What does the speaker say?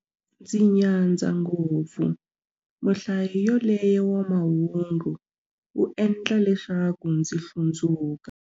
Ndzi nyadza ngopfu muhlayi yaloye wa mahungu, u endla leswaku ndzi hlundzuka.